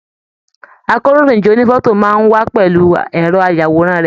Àkòróyinjọ́ ònífọ̀tò máa n wà pẹlú ẹrọ ayàwòrán rẹ.